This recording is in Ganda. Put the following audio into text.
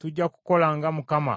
tujja kukola nga Mukama bw’atugambye.